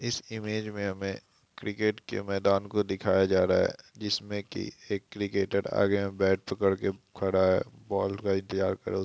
इस इमेज मे हमे क्रिकेट के मैदान को दिखाया जा रहा है जिसमे की एक क्रिकेटर आगे बैट पकड़ कर खड़ा है बॉल इंतज़ार कर--